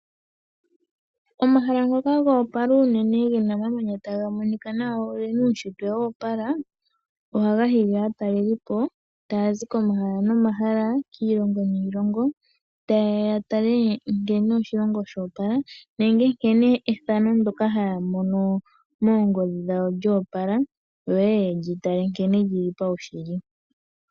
Omahala ngoka ga opala unene gena omamanya taga monika nawa na ogena uushitwe wa opala, ohaga hili aatalelipo taya zi komahala nomahala, kiilongo niilongo. Taye ya ya tale nkene oshilongo sha opala, nenge ya tale ethano ndoka haya mono moongodhi dhawo lyoopala, yo yeye yelyi tale nkele lyili paushitwe.